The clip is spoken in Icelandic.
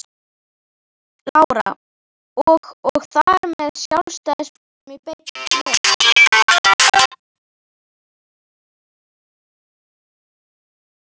Lára: Og og þar með Sjálfstæðisflokknum í leiðinni?